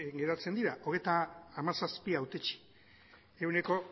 geratzen dira hogeita hamazazpi hautetsi ehuneko